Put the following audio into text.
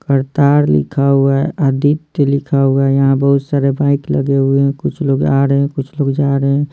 करतार लिखा हुआ है आदित्य लिखा हुआ है यहाँ बहुत सारे बाइक लगे हुए हैं कुछ लोग आ रहे हैं कुछ लोग जा रहे हैं।